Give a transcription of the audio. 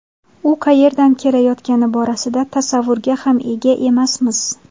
U qayerdan kelayotgani borasida tasavvurga ham ega emasmiz.